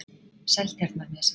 Seltjarnarnesi